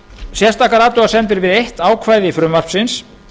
sérstakar athugasemdir við eitt atriði frumvarpsins